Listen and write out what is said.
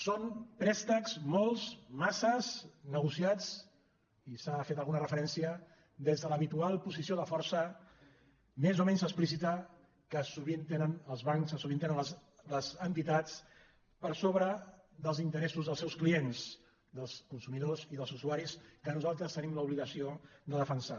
són préstecs molts masses negociats i s’hi ha fet alguna referència des de l’habitual posició de força més o menys explícita que sovint tenen els bancs que sovint les entitats per sobre dels interessos dels seus clients dels consumidors i dels usuaris que nosaltres tenim l’obligació de defensar